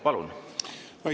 Palun!